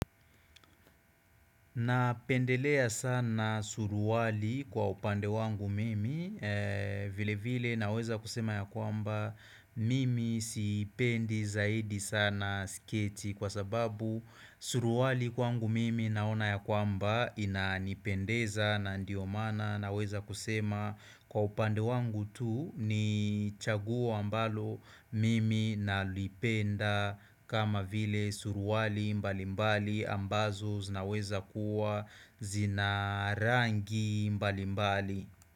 Napendelea sana suruali kwa upande wangu mimi vile vile naweza kusema ya kwamba mimi sipendi zaidi sana siketi kwa sababu suruali kwangu mimi naona ya kwamba ina nipendeza na ndio mana naweza kusema kwa upande wangu tu ni chaguo mbalo mimi na lipenda kama vile suruali mbali mbali ambazo zinaweza kuwa zina rangi mbali mbali.